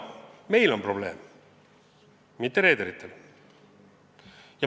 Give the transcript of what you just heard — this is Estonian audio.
Meil on probleem, mitte reederitel!